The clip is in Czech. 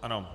Ano.